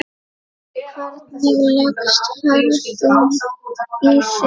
Hvernig leggst ferðin í þig?